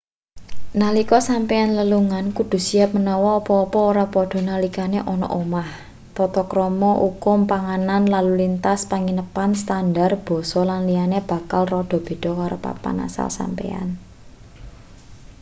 nalika sampeyan lelungan kudu siap menawa apa-apa ora padha nalikane ana omah tata krama ukum panganan lalu lintas penginepan standar basa lan liyane bakal rada beda karo papan asal sampeyan